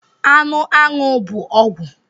Anụ aṅụ bụ ọgwụ